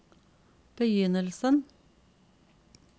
begynnelsen